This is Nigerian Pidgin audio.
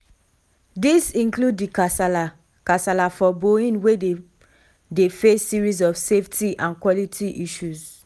dis include di kasala kasala for boeing wia dem dey face series of safety and quality issues.